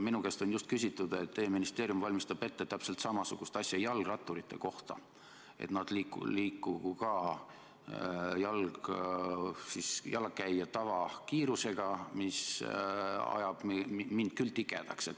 Minu käest on just küsitud selle kohta, et teie ministeerium valmistab ette täpselt samasugust asja jalgratturite kohta, et nad liikugu ka jalakäija tavakiirusega, mis ajab mind küll tigedaks.